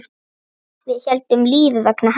Við héldum lífi vegna hans.